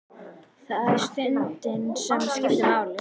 Það er stundin sem skiptir máli.